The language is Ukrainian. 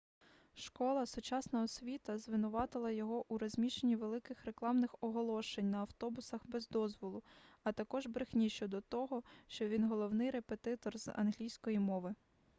школа сучасна освіта звинуватила його у розміщенні великих рекламних оголошень на автобусах без дозволу а також брехні щодо того що він головний репетитор з англійської мови